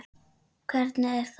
Hvernig er það?